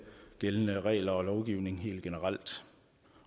gældende regler og lovgivningen helt generelt